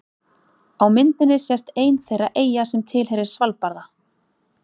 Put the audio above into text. Á myndinni sést ein þeirra eyja sem tilheyrir Svalbarða.